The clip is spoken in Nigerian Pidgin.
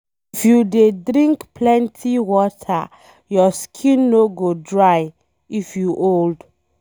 If you dey drink plenty water, your skin no go dry if you old